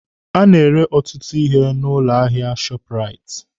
A na-ere ọtụtụ ihe n'ụlọ ahịa shọọpụraiti